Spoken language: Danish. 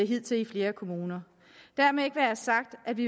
hidtil i flere kommuner dermed ikke være sagt at vi